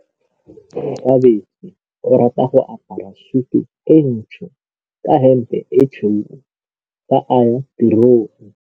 Onkabetse o rata go apara sutu e ntsho ka hempe e tshweu fa a ya tirong.